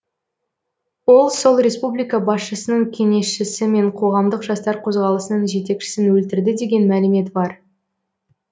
ол сол республика басшысының кеңесшісі мен қоғамдық жастар қозғалысының жетекшісін өлтірді деген мәлімет бар